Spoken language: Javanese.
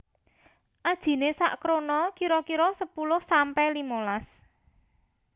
Ajiné sak krona kira kira sepuluh sampe limolas